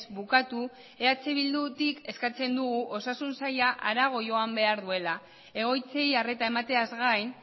bukatu eh bildutik eskatzen dugu osasun saila harago joan behar duela egoitzei arreta emateaz gain